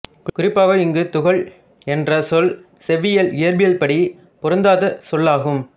குறிப்பாக இங்கு துகள் என்ற சொல் செவ்வியல் இயற்பியல்படி பொருந்தாத சொல்லாகும்